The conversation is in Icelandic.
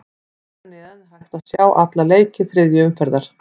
Hér að neðan er hægt að sjá alla leiki þriðju umferðar.